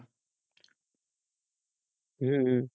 হম হম